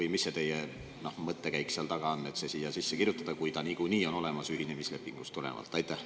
Või mis see teie mõttekäik seal taga on, et siia sisse kirjutada, kui see niikuinii on olemas ühinemislepingust tulenevalt?